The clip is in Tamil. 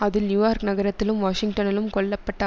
அதில் நியூயார்க் நகரத்திலும் வாஷிங்டனிலும் கொல்ல பட்ட